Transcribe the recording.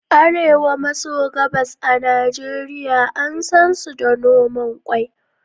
Arewa maso gabas a Najeriya an sansu da noman ƙwai.